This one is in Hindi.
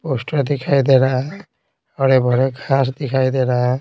पोस्टर दिखाई दे रहा है हरे-भरे घास दिखाई दे रहा है।